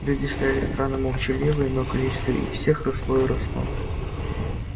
люди стояли странно молчаливые но количество их все росло и росло